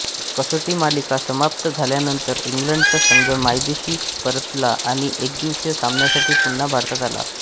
कसोटी मालिका समाप्त झाल्यानंतर इंग्लंडचा संघ मायदेशी परतला आणि एकदिवसीय सामन्यासाठी पुन्हा भारतात आला